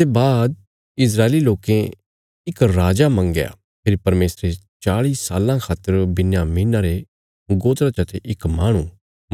ताहली जे शमूएल हलतियें तक तिन्हांरा अगुवा ही था तां इस्राएली लोकें अपणे खातर इक राजा मंगया फेरी परमेशरे चाल़ी साल्लां खातर बिन्यामीना रे गोत्रा चते इक माहणु